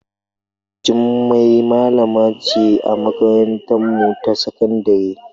Jummai malama ce a makarantarmu ta sakandare.